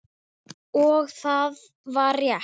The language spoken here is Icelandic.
Og það var rétt.